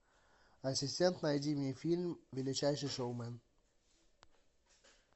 ассистент найди мне фильм величайший шоумен